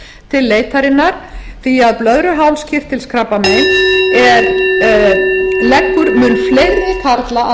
til leitarinnar því að blöðruhálskirtilskrabbamein leggur mun fleiri karla að